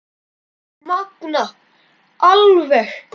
Magnað alveg.